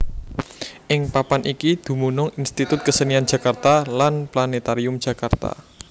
Ing papan iki dumunung Institut Kesenian Jakarta lan Planètarium Jakarta